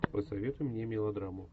посоветуй мне мелодраму